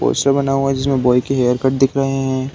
Poster बना हुआ है जिसमें बॉय के हेयरकट दिख रहे हैं।